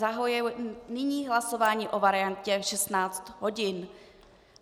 Zahajuji nyní hlasování o variantě v 16 hodin.